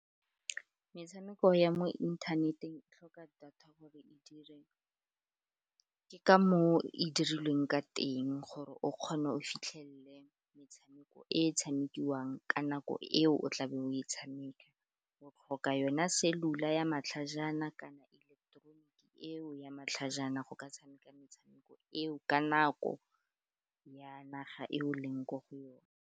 Metshameko ya mo inthaneteng e tlhoka data gore e dire, ke ka moo e dirilweng ka teng gore o kgone o fitlhelele metshameko e tshamikiwang ka nako eo o tla be o e tshameka. O tlhoka yona selula ya matlhajana kana ileketeroniki eo ya matlhajana, go ka tshameka metshameko eo ka nako ya naga eo leng ko go yone.